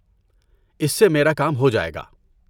اس سے میرا کام ہو جائے گا۔